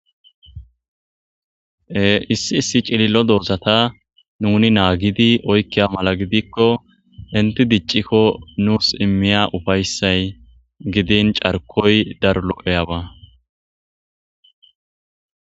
Issi issi cillo dorzata nuni naagidi oykkiya mala gidikko inti diccikko nuus immiya ufayssay gidin carkoy darlo'eyaba.